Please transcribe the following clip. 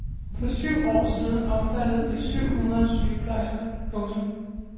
For syv år siden omfattede de syv hundrede sygeplejersker. punktum